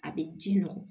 A bɛ ji nɔ